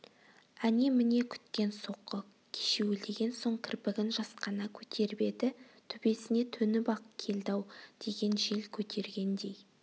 әне-міне күткен соққы кешеуілдеген соң кірпігін жасқана көтеріп еді төбесіне төніп-ақ келді-ау деген жел көтергендей